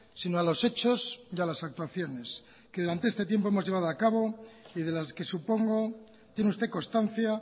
sino a los hechos y a las actuaciones que durante este tiempo hemos llevado a cabo y de las que supongo tiene usted constancia